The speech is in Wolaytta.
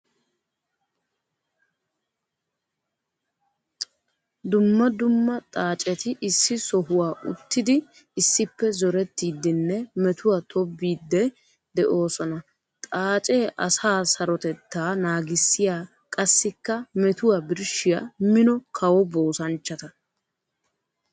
Dumma dumma xaacetti issi sohuwa uttiddi issippe zorettiddinne metuwa tobbidde de'osonna. Xaace asaa sarotetta naagissiya qassikka metuwa birshshiya mino kawoboosanchcha.